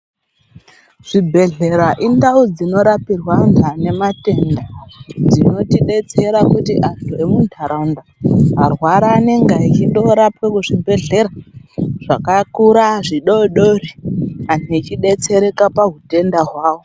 Zvibhedhlera indau dzinorapirwa antu ane matenda. Dzinotibetsera kuti antu emuntaraunda arwara anenge achindorapwe kuzvibhedhlera zvakakura zvidodori. Antu achibetsereka pahutenda hwavo.